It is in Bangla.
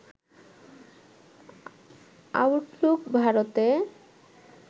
আউটলুক ভারতে